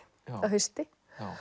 að hausti